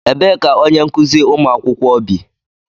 Ebee ka onye nkụzi ụmụ akwụkwọ bi?